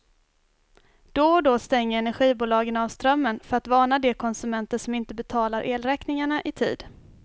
Då och då stänger energibolagen av strömmen för att varna de konsumenter som inte betalar elräkningarna i tid.